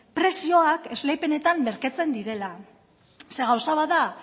prezioak esleipenetan merkatzen direla zeren gauza bat